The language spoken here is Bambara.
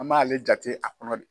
An b'ale jate a kɔnɔ de